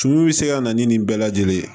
Tumun bɛ se ka na ni nin bɛɛ lajɛlen ye